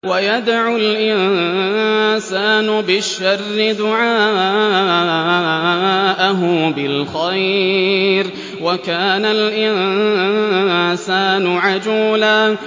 وَيَدْعُ الْإِنسَانُ بِالشَّرِّ دُعَاءَهُ بِالْخَيْرِ ۖ وَكَانَ الْإِنسَانُ عَجُولًا